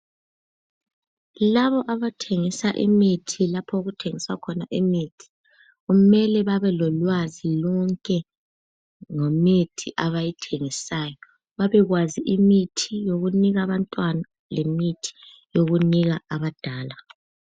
Labo abathengisa imithi lapho okuthengiswa khona imithi, kumele babe lolwazi lonke lwemithi abayithengisayo. Babe kwazi imithi yokunika abantwana lemithi yokunika abadala.